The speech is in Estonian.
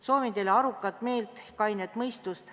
Soovin teile arukat meelt, kainet mõistust.